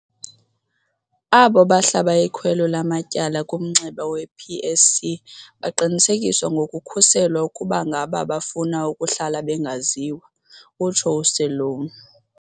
Abo bahlaba ikhwelo lamatyala kumnxeba we-PSC baqinisekiswa ngokukhuselwa ukuba ngaba bafuna ukuhlala bengaziwa, utsho uSeloane.